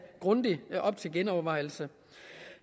grundigt op til genovervejelse